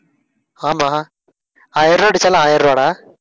ஆமா. ஆயிரம் ரூபாய் அடிச்சாலும் ஆயிரம் ரூபாய்டா.